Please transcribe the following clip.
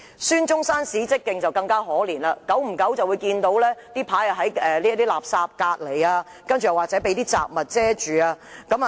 孫中山史蹟徑則更為可悲，偶然會看到紀念牌旁邊棄置垃圾，或紀念牌被雜物遮蓋。